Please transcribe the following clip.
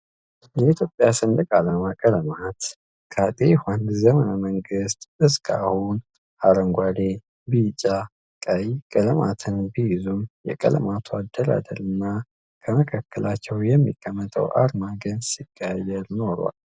የኢትዮጵያ ሰንደቅ አላማ ቀለማት ከአጤ ዩሀንስ ዘመነ መንግስት እስካሁን አረንጓዴ፣ ቢጫ ፣ቀይ ቀለማትን ቢይዙም የቀለማቱ አደራደር እና ከመካከላቸው የሚቀመጠው አርማ ግን ሲቀያየር ኑሯል።